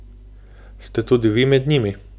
Ste tudi vi med njimi?